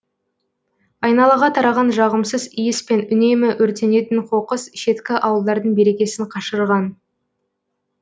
айналаға тараған жағымсыз иіс пен үнемі өртенетін қоқыс шеткі ауылдардың берекесін қашырған